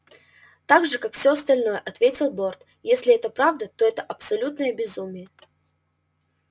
так же как всё остальное ответил борт если это правда то это абсолютное безумие